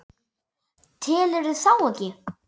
Telurðu þá ekki?